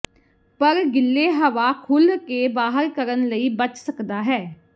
ਪਰ ਗਿੱਲੇ ਹਵਾ ਖੁੱਲ੍ਹ ਕੇ ਬਾਹਰ ਕਰਨ ਲਈ ਬਚ ਸਕਦਾ ਹੈ